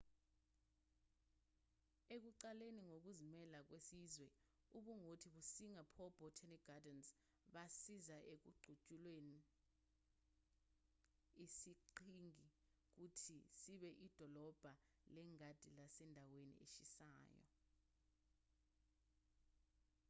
ekuqaleni kokuzimela kwesizwe ubungoti be-singapore botanic gardens basiza ekuguquleni isiqhingi ukuthi sibe idolobha lengadi lasendaweni eshisayo